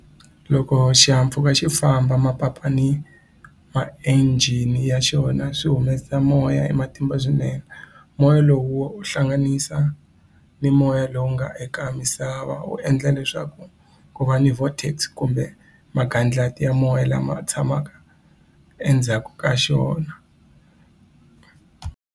Loko xihahampfhuka xi famba mapapa ni ma-engine ya xona swi humesa moya hi matimba swinene moya lowo hlanganisa ni moya lowu nga eka misava wu endla leswaku ku va ni vortex kumbe magadlati ya moya lama tshamaka endzhaku ka xona.